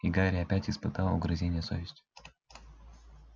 и гарри опять испытал угрызения совести